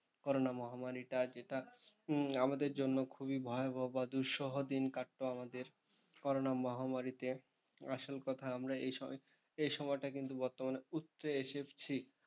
Corona মহামারীটা যেটা আমাদের জন্য খুবই ভয়াবহ বা দুঃসহ দিন কাটতো আমাদের করোনা মহামারীতে। আসল কথা আমরা এই সময়টা কিন্তু বর্তমানে উতরে এসেছি।